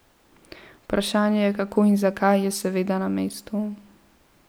Vprašanje, kako in zakaj, je seveda na mestu.